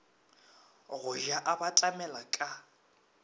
go ja a batamela ka